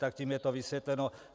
Tak tím je to vysvětleno.